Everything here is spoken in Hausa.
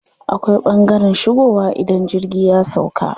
Akwai ɓangaren shigowa idan jirgi ya sauƙa.